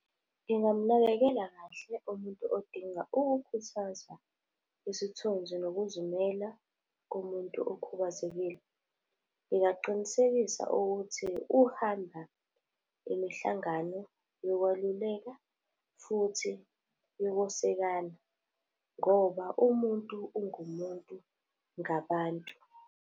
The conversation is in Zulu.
Ngingamnakekela kahle umuntu odinga ukukhuthazwa isithunzi nokuzimela komuntu okhubazekile. Ngingaqinisekisa ukuthi uhamba imihlangano yokwaluleka futhi yokwesekana, ngoba umuntu ungumuntu ngabantu.